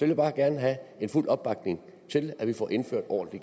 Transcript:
vil bare gerne have fuld opbakning til at vi får indført ordentlig